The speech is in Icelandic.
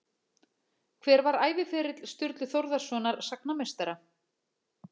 Hver var æviferill Sturlu Þórðarsonar sagnameistara?